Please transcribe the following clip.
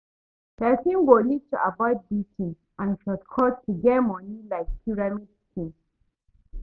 Person go need to avoid betting and shortcut to get money like pyramid scheme